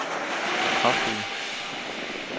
kraftige